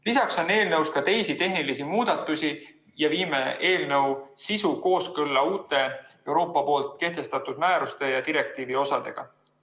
Lisaks on eelnõus ka teisi tehnilisi muudatusi ja viime eelnõu sisu kooskõlla uute Euroopa poolt kehtestatud määruste ja direktiivi osadega.